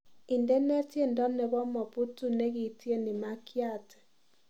Indene tyendo nebo moputu negiityeni makiati